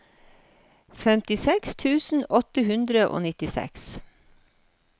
femtiseks tusen åtte hundre og nittiseks